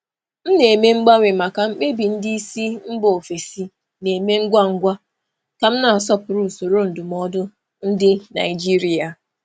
Ana m emegharị na ime mkpebi ngwa ngwa nke ndị oga si mba ọzọ ka m na-akwanyere usoro ndụmọdụ usoro ndụmọdụ Naịjirịa ùgwù.